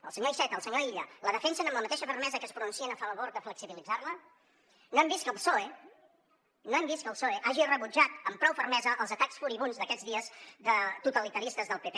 el senyor iceta el senyor illa la defensen amb la mateixa fermesa que es pronuncien a favor de flexibilitzar la no hem vist que el psoe no hem vist que el psoe hagi rebutjat amb prou fermesa els atacs furibunds d’aquests dies totalitaristes del pp